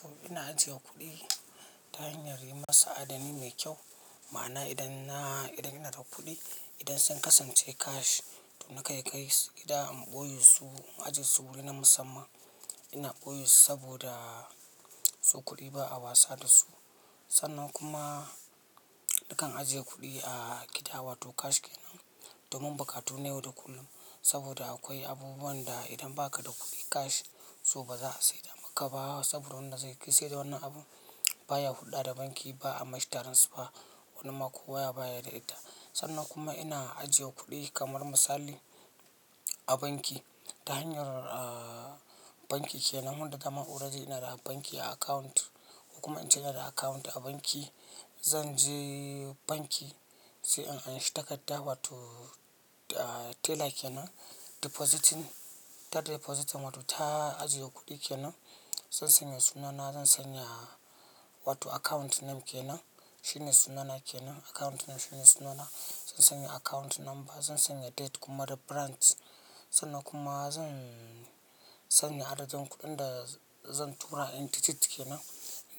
To ina ajiye kuɗi ta hanyar yi masa adani mai kyau. Ma'ana idan ina da kuɗi, idan sun kasance cash to na kai kai su. Gida in ɓoye su, na ajie su wuri na musamman ina ɓoye su saboda su kuɗi ba'a wasa da su. Sannan kuma nakan ajiye kudi a gida, wato cash kenan domin bukatu na yau da kullum saboda akwai abubuwanda idan baka da kudi cash so baza'a saida maka ba saida wannan abun baya hulɗa da banki ba a mashitaran su ba wani ma kuwa baya da ita. Sannan kuma ina ajiye kuɗi kamar misali a banki ta hanyar banki kenan, wanda dama already ina da banki a account ko kuma ince ina da account a banki. Zan je banki sai in anshi takarda wato teller kenan depositing, ta depositing wato ta ajiye kuɗi kenan. Zan sanya sunana, zan sanya wato account name kenan, shine sunana kenan account name shine sunana. Zan sanya account number, zan sanya date kuma da branch sannan kuma zan sanya adadin kuɗin da zan tura in tititi kenan.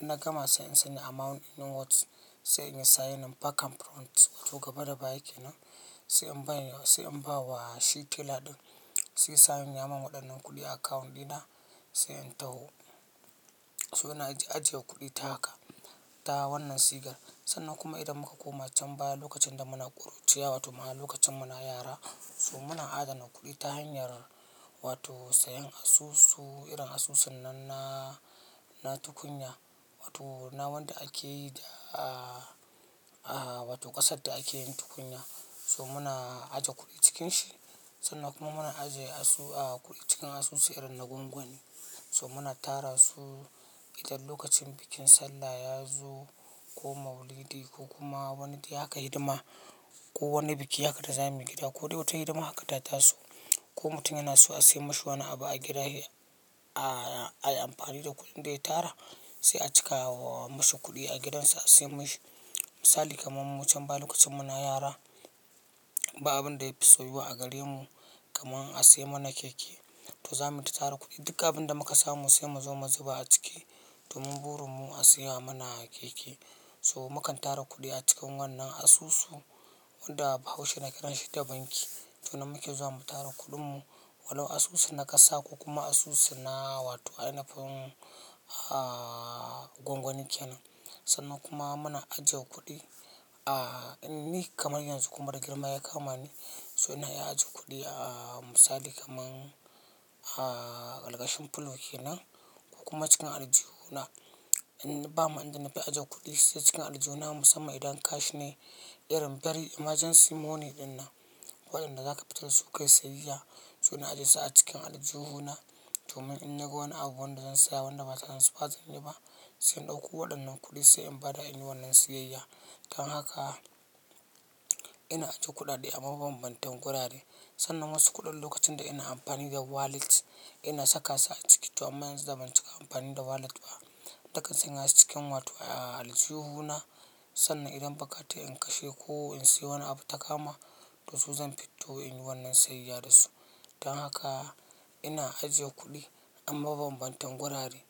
Inna gama sai in sanya amount in words sai inyi signin bakan front to gaba da baya kenan. Sai in bawa shi teller din sai ya sanya min wadannan kudin a account dina, sai in taho to ina ajiye kudi ta account ta wannan sigar sannan kuma idan muka koma can baya lokacin da muna ƙuruciya wato ma lokacin muna yara so muna adana kuɗi ta hanyar wato sayan asusu irin asusunnan na tukunya wato na wanda ake yi da wato kasarda akeyin tukunya, so muna aje kudi cikin shi sannan kuma muna aje kudi cikin asusu irin na gwangwani so muna tarasu idan lokacin bikin sallah yazo ko maulidi kokuma wani dai haka hidima ko wani biki haka da za muyi gida ko dai wata hidima haka ta taso ko mutum yanason asiyan mashi wani abu agida ayi anfani da kudin daya tara sai acika musu kudi a gidansu sai a siyan mishi misali kaman mu can baya lokacin muna yara ba abin da ya fi so yiwa a gare mu kaman asiyan mana keke to zamu ta tara kudi duk abunda muka samu sai muzo muzuba aciki, domin burinmu asiya mana keke so mukan tara kudi acikin wannan asusu wanda bahaushina kiranshi da banki to nan muke zuwa mu tara kuɗin mu walau asusu na ƙasa ko kuma asusu na wato ainihin gwangwani kenan. Sannan kuma muna ajiye kuɗi a ni kamar yanzu kuma da girma ya kama ni so ina iya ajiye kuɗi a misali kamar algashin fulow kenan ko kuma cikin aljihuna. In bama inda na fi ajiye kuɗi sai cikin aljihuna musamman idan cash ne irin very emergency money din nan wadanda zaka fito su kai siyayya to na ajie su a cikin aljihuna domin in naga wani abu wanda zan saya wanda ba transfer zanyi ba sai in dauko waɗannan kuɗi sai in bada in yi wannan siyayya. Dan haka ina ajiye kuɗaɗe a mabambantan gurare sannan wasu kuɗin lokacin da ina amfani da wallet ina saka su a ciki to amma yanzu ban cika amfani da wallet ba. Dakin sanya su cikin wato aljihuna sannan idan bakata in kashe ko in sai wani abu ta kama to su zan fito in yi wannan siyayya da su. Dan haka ina ajiye kuɗi a mabambantan gurare.